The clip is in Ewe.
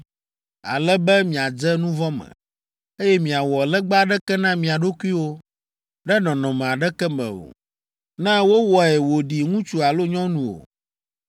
ale be miadze nu vɔ̃ me, eye miawɔ legba aɖeke na mia ɖokuiwo ɖe nɔnɔme aɖeke me o; ne wowɔe wòɖi ŋutsu alo nyɔnu o,